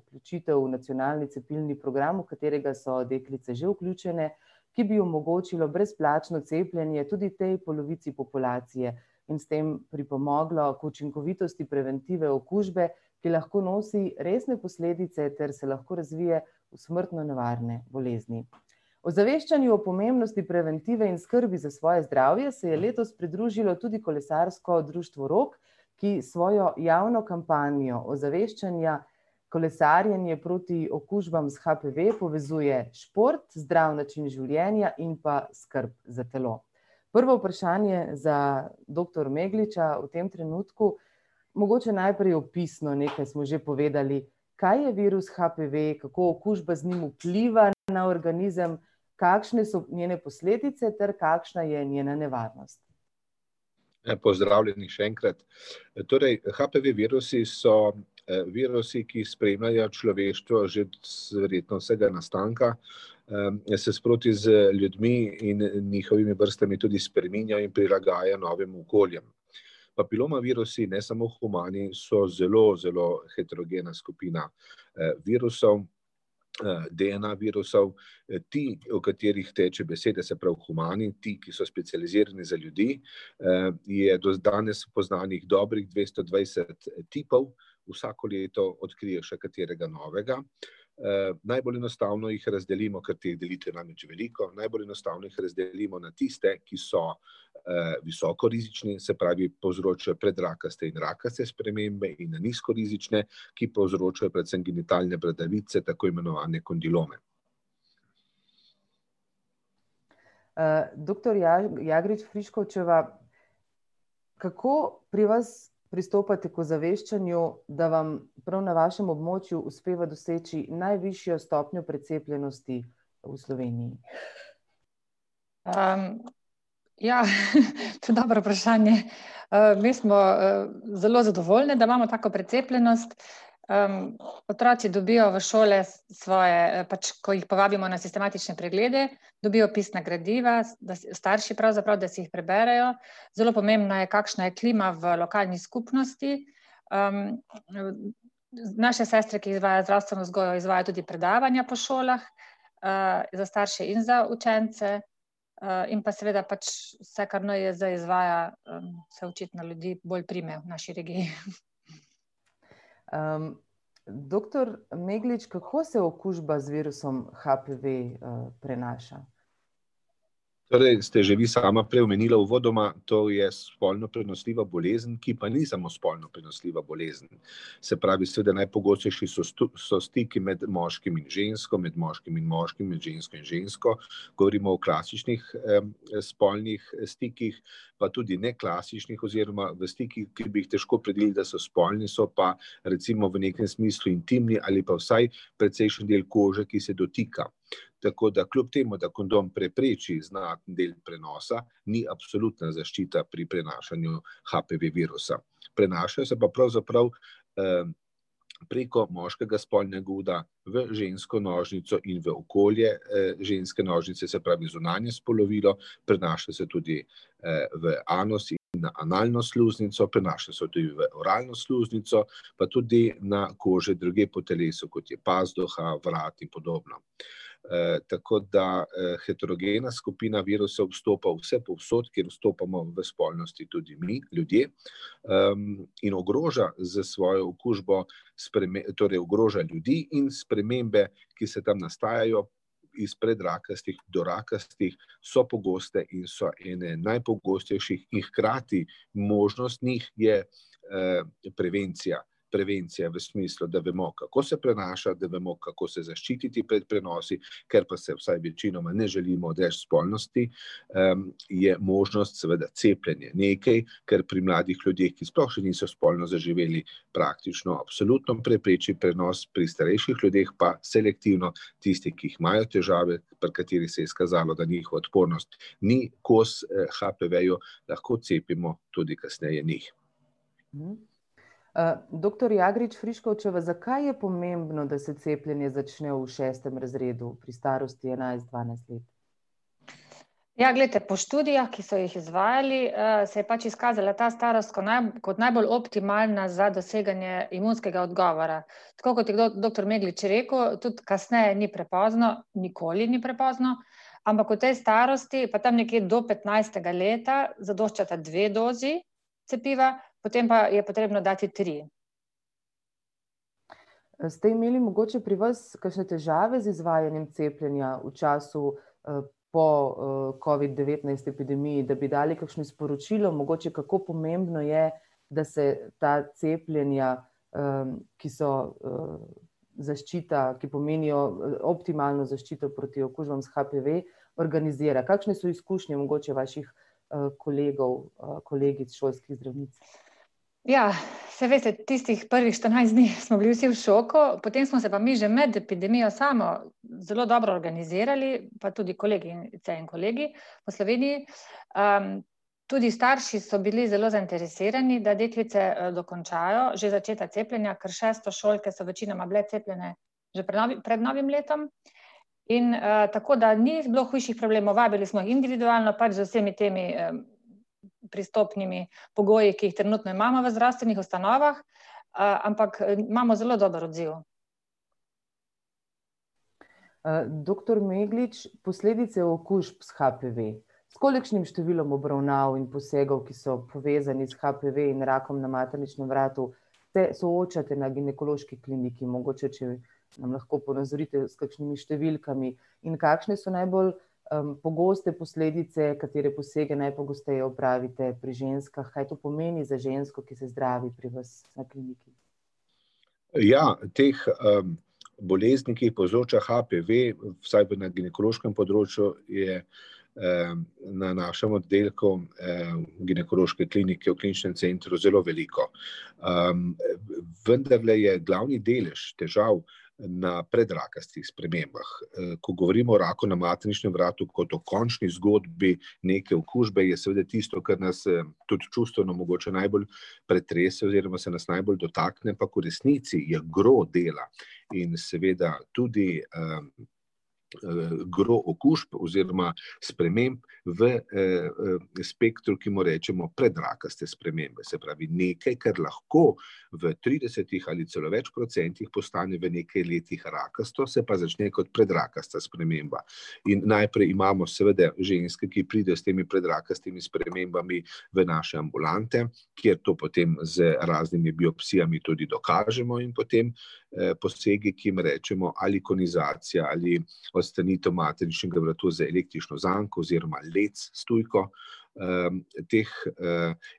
vključitev v nacionalni cepilni program, v katerega so deklice že vključene, ki bi omogočilo brezplačno cepljenje tudi tej polovici populacije in s tem pripomoglo k učinkovitosti preventive okužbe, ki lahko nosi resne posledice ter se lahko razvije v smrtno nevarne bolezni. Ozaveščanju o pomembnosti preventive in skrbi za svoje zdravje se je letos pridružilo tudi kolesarsko društvo Rog, ki s svojo javno kampanjo ozaveščanja kolesarjenje proti okužbam s HPV povezuje šport, zdrav način življenja in pa skrb za telo. Prvo vprašanje za doktor Megliča v tem trenutku. Mogoče najprej opisno, nekaj smo že povedali, kaj je virus HPV, kako okužbe z njim vplivajo na organizem, kakšne so njene posledice ter kakšna je nevarnost? Lepo pozdravljeni še enkrat. Torej, HPV virusi so virusi, ki spremljajo človeštvo že verjetno od vsega nastanka, se sproti z ljudmi in njihovimi vrstami tudi spreminja in prilagaja novim okoljem. Papiloma virusi, ne samo humani, so zelo, zelo heterogena skupina virusov, DNA virusov, ti, o katerih teče beseda, se pravi humani, ti, ki so specializirani za ljudi, je do danes poznanih dobrih dvesto dvajset tipov, vsako leto odkrijejo še katerega novega. Najbolj enostavno jih razdelimo, kajti teh delitev namreč je veliko, najbolj enostavno jih razdelimo na tiste, ki so visoko rizični, se pravi, povzročajo predrakaste in rakaste spremembe, in na nizko rizične, ki povzročajo predvsem genitalne bradavice, tako imenovane kondilome. Doktor Jagrič Friškovčeva, kako pri vas pristopate k ozaveščanju, da vam prav na vašem območju uspeva doseči najvišjo stopnjo precepljenosti v Sloveniji? Ja, to je dobro vprašanje. Me smo zelo zadovoljne, da imamo tako precepljenost. Otroci dobijo v šole svoje pač, ko jih povabimo na sistematične preglede, dobijo pisna gradiva, starši pravzaprav, da si jih preberejo, zelo pomembna je, kakšna je klima v lokalni skupnosti. Naše sestre, ki izvajajo zdravstveno vzgojo, izvajajo tudi predavanja po šolah, za starše in za učence, in pa seveda pač vse, kar NIJZ izvaja, se očitno ljudi bolj prime v naši regiji, Doktor Meglič, kako se okužba z virusom HPV prenaša? Torej, ste že vi sama prej omenila uvodoma, to je spolno prenosljiva bolezen, ki pa ni samo spolno prenosljiva bolezen. Se pravi, seveda najpogostejši so so stiki med moškim in žensko, med moškimi in moškim, med žensko in žensko, govorimo o klasičnih spolnih stikih pa tudi neklasičnih, oziroma v stikih, ki bi jih težko opredelili, da so spolni, so pa recimo v nekem smislu intimni ali pa vsaj precejšen del kože, ki se dotika. Tako da kljub temu, da kondom prepreči znaten del prenosa, ni absolutna zaščita pri prenašanju HPV virusa. Prenaša se pa pravzaprav preko moškega spolnega uda v žensko nožnico in v okolje ženske nožnice, se pravi zunanje spolovilo, prenaša se tudi v anus in analno sluznico, prenaša se tudi v oralno sluznico, pa tudi na kože drugje po telesu, kot je pazduha, vrat in podobno. Tako da heterogena skupina virusov vstopa vsepovsod, kjer vstopamo v spolnosti tudi mi, ljudje, in ogroža s svojo okužbo torej ogroža ljudi in spremembe, ki se tam nastajajo izpred rakastih do rakastih, so pogoste in so ene najpogostejših in hkrati možnost njih je prevencija. Prevencija v smislu, da vemo, kako se prenaša, da vemo, kako se zaščititi pred prenosi, ker pa se, vsaj večinoma, ne želimo odreči spolnosti, je možnost seveda cepljenje, nekaj, kar pri mladih ljudeh, ki sploh še niso spolno zaživeli, praktično absolutno prepreči prenos, pri starejših ljudeh pa selektivno; tisti, ki imajo težave, pri katerih se je izkazalo, da njihova odpornost ni kos HPV-ju, lahko cepimo tudi kasneje njih. Doktor Jagrič Friškovčeva, zakaj je pomembno, da se cepljenje začne v šestem razredu, pri starosti enajst, dvanajst let? Ja, glejte, po študijah, ki so jih izvajali, se je pač izkazala ta starost kot najbolj optimalna za doseganje imunskega odgovora. Tako kot je doktor Meglič rekel, tudi kasneje ni prepozno, nikoli ni prepozno, ampak v tej starosti pa tam nekje do petnajstega leta zadoščata dve dozi cepiva, potem pa je potrebno dati tri. Ste imeli mogoče pri vas kakšne težave z izvajanjem cepljenja v času po covid-devetnajst epidemiji, da bi dali kakšno sporočilo mogoče, kako pomembno je, da se ta cepljenja ki so zaščita, ki pomenijo optimalno zaščito proti okužbam s HPV, organizira, kakšne so izkušnje mogoče vaših kolegov, kolegic, šolskih zdravnic? Ja, saj veste, tistih prvih štirinajst dni smo bili vsi v šoku, potem smo se pa mi že med epidemijo samo zelo dobro organizirali pa tudi kolegice in kolegi po Sloveniji. Tudi starši so bili zelo zainteresirani, da deklice dokončajo že začetek cepljenja, ker šestošolke so večinoma bile cepljene že pred pred novim letom. In tako da ni bilo hujših problemov, vabili smo individualno pač z vsemi temi pristopnimi pogoji, ki jih trenutno imamo v zdravstvenih ustanovah, ampak imamo zelo dober odziv. Doktor Meglič, posledice okužb s HPV. S kolikšnim številom obravnav in posegov, ki so povezani s HPV in rakom na materničnem vratu, se soočate na ginekološki kliniki, mogoče če nam lahko ponazorite s kakšnimi številkami, in kakšne so najbolj pogoste posledice, katere posege najpogosteje opravite pri ženskah, kaj to pomeni za žensko, ki se zdravi vas na kliniki? Ja, teh bolezni, ki jih povzroča HPV, vsaj na ginekološkem področju, je na našem oddelku Ginekološke klinike v Kliničnem centru zelo veliko. Vendarle je glavni delež težav na predrakastih spremembah. Ko govorim o raku na materničnem vratu kot o končni zgodbi neke okužbe, je seveda tisto, kar nas tudi čustveno mogoče najbolj pretrese oziroma se nas najbolj dotakne, ampak v resnici je gro dela in seveda tudi gro okužb oziroma sprememb v spektru, ki mu rečemo predrakaste spremembe, se pravi nekaj, kar lahko v tridesetih ali celo več procentih postane v nekaj letih rakasto, se pa začne kot predrakasta sprememba. In najprej imamo seveda ženske, ki pridejo s temi predrakastimi spremembami v naše ambulante, kjer to potem z raznimi biopsijami tudi dokažemo, in potem posegi, ki jim rečemo ali konizacija ali odstranitev materničnega vratu z električno zanko oziroma led s tujko. Teh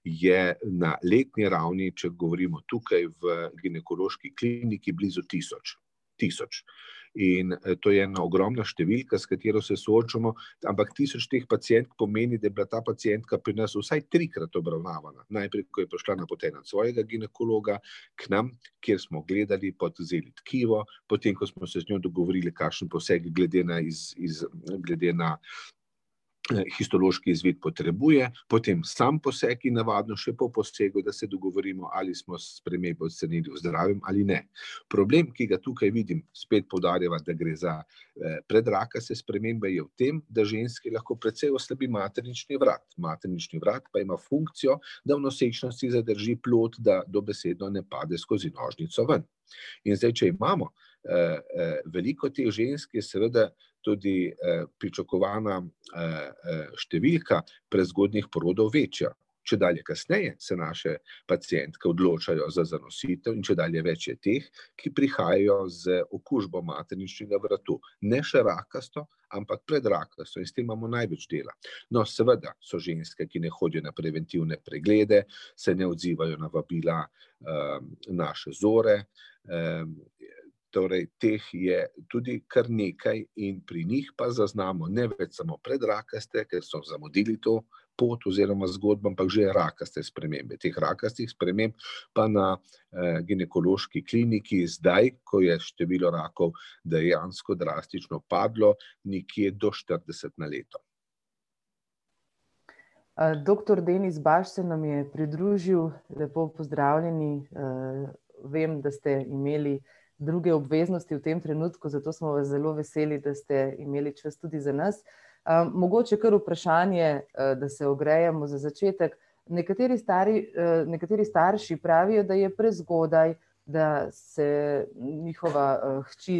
je na letni ravni, če govorimo tukaj v Ginekološki kliniki, blizu tisoč. Tisoč. In to je ena ogromna številka, s katero se soočamo, ampak tisoč teh pacientk pomeni, da je bila ta pacientka pri nas vsaj trikrat obravnavana. Najprej, ko je prišla napotena od svojega ginekologa k nam, kjer smo gledali pa vzeli tkivo, potem, ko smo se z njo dogovorili, kakšen poseg glede na glede na histološki izvid potrebuje, potem samo poseg in navadno še po posegu, da se dogovorimo, ali smo spremembo ali ne. Problem, ki ga tukaj vidim, spet poudarjava, da gre za predrakaste spremembe, je v tem, da ženski lahko precej oslabi maternični vrat. Maternični vrat pa ima funkcijo, da v nosečnosti zadrži plod, da dobesedno ne pade skozi nožnico ven. In zdaj, če imamo veliko teh žensk, je seveda tudi pričakovana številka prezgodnjih porodov večja. Čedalje kasneje se naše pacientke odločajo za zanositev in čedalje več je teh, ki prihajajo z okužbo materničnega vratu. Ne še rakasto, ampak predrakasto in s tem imamo največ dela. No, seveda so ženske, ki ne hodijo na preventivne preglede, se ne odzivajo na vabila naše Zore, torej teh je tudi kar nekaj in pri njih pa zaznamo, ne več samo predrakaste, ker smo zamudili to pot oziroma zgodnjo, ampak že rakaste spremembe, teh rakastih sprememb pa na Ginekološki kliniki zdaj, ko je število rakov dejansko drastično padlo, nekje do štirideset ne leto. Doktor [ime in priimek] se nam je pridružil, lepo pozdravljeni vem, da ste imeli druge obveznosti v tem trenutku, zato smo vas zelo veseli, da ste imeli čas tudi za nas. Mogoče kar vprašanje da se ogrejemo za začetek. Nekateri nekateri starši pravijo, da je prezgodaj, da se njihova hči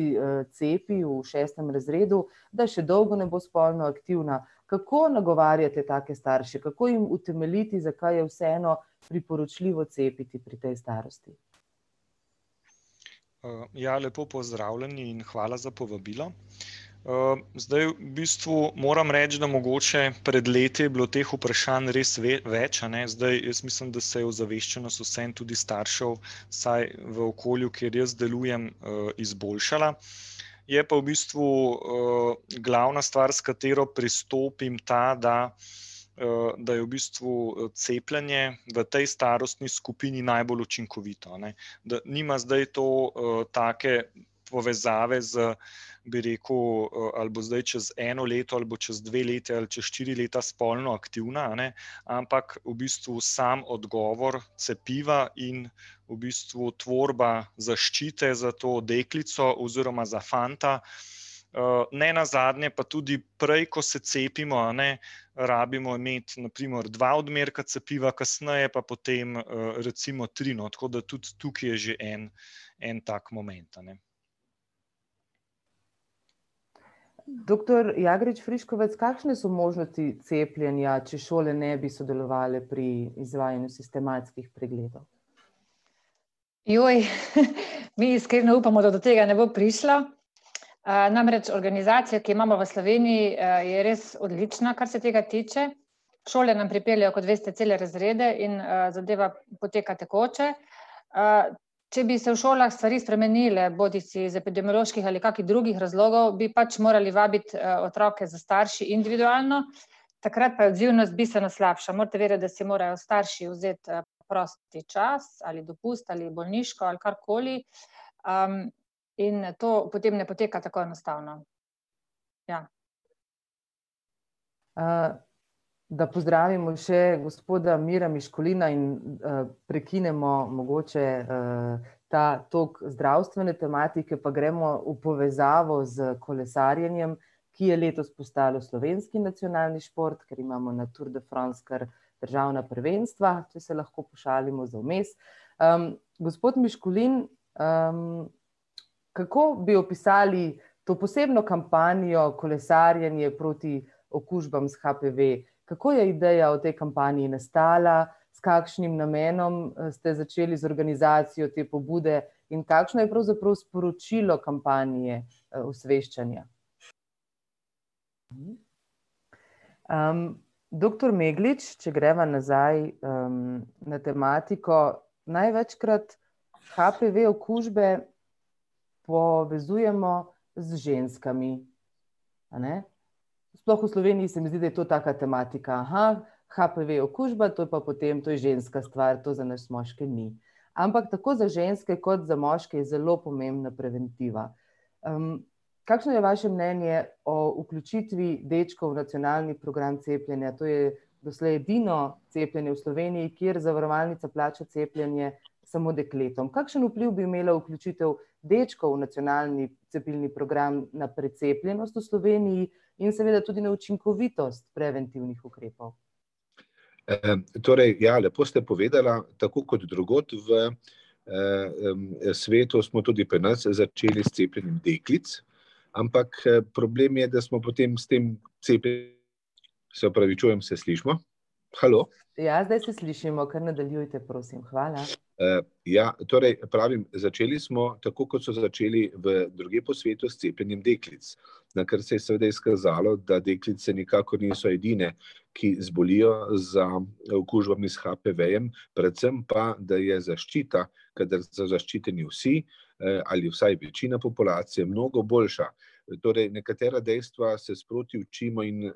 cepi v šestem razredu, da še dolgo ne bo spolno aktivna. Kako nagovarjate take starše, kako jim utemeljiti, zakaj je vseeno priporočljivo cepiti pri tej starosti? Ja, lepo pozdravljeni in hvala za povabilo. Zdaj v bistvu moram reči, da mogoče pred leti je bilo teh vprašanj res več, a ne, zdaj jaz mislim, da se je ozaveščenost vseeno, tudi staršev, vsaj v okolju, kjer jaz delujem, izboljšala. Je pa v bistvu glavna stvar, s katero pristopim ta, da da je v bistvu cepljenje v tej starostni skupini najbolj učinkovito, a ne. Da nima zdaj to take povezave z, bi rekel, ali bo zdaj čez eno leto ali bo čez dve leti ali čez štiri leta spolno aktivna, a ne. Ampak v bistvu sam odgovor cepiva in v bistvu tvorba zaščite za to deklico oziroma za fanta. Nenazadnje pa tudi prej, ko se cepimo, a ne, rabimo imeti na primer dva odmerka cepiva, kasneje pa potem recimo tri, no, tako da tudi tukaj je že en en tak moment, a ne. Doktor Jagrič Friškovec, kakšne so možnosti cepljenja, če šole ne bi sodelovale pri izvajanju sistematskih pregledov? mi iskreno upamo, da do tega ne bo prišlo. Namreč organizacija, ki jo imamo je res odlična, kar se tega tiče. Šole nam pripeljejo, kot veste, cele razrede, in zadeva poteka tekoče. Če bi se v šolah stvari spremenile, bodisi z epidemioloških ali kakih drugih razlogov, bi pač morali vabiti otroke s starši individualno. Takrat pa je odzivnost bistveno slabša, morate vedeti, da si morajo starši vzeti prosti čas ali dopust ali bolniško ali karkoli. In to potem ne poteka tako enostavno. Ja. Da pozdravimo še gospoda [ime in priimek] in prekinemo mogoče ta tok zdravstvene tematike, pa gremo v povezavo s kolesarjenjem, ki je letos postalo slovenski nacionalni šport, ker imamo na Tour de France kar državna prvenstva, če se lahko pošalimo za vmes. Gospod Miškulin, kako bi opisali to posebno kampanjo Kolesarjenje proti okužbam s HPV? Kako je ideja o tej kampanji nastala, s kakšnim namenom ste začeli z organizacijo te pobude in kakšno je pravzaprav sporočilo kampanje, osveščanja? Doktor Meglič, če greva nazaj na tematiko. Največkrat HPV okužbe povezujemo z ženskami, a ne. Sploh v Sloveniji se mi zdi, da je to taka tematika, HPV okužba, to je pa potem, to je ženska stvar, to za nas moške ni. Ampak tako za ženske kot za moške je zelo pomembna preventiva. Kakšno je vaše mnenje o vključitvi dečkov v nacionalni program cepljenja, to je doslej edino cepljenje v Sloveniji, kjer zavarovalnica plača cepljenje samo dekletom. Kakšen vpliv bi imela vključitev dečkov v nacionalni program cepilni program na precepljenost v Sloveniji in seveda tudi na učinkovitost preventivnih ukrepov? Torej ja, lepo ste povedala, tako kot drugod v svetu, smo tudi pri nas začeli s cepljenjem deklic. Ampak problem je, da smo potem s tem se opravičujem, se slišimo? Halo? Ja, zdaj se slišimo, kar nadaljujte prosim, hvala. Ja, torej pravim, začeli smo, tako kot so začeli v drugje po svetu, s cepljenjem deklic. Nakar se je seveda izkazalo, da deklice nikakor niso edine, ki zbolijo za okužbami s HPV-jem, predvsem pa, da je zaščita, kadar so zaščiteni vsi ali vsaj večina populacije, mnogo boljša. Torej, nekatera dejstva se sproti učimo in